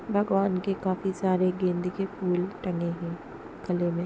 भगवान के काफी सारे गेंदे के फूल टंगे हैं गले में।